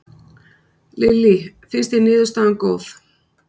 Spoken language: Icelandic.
Lillý: Finnst þér niðurstaðan góð?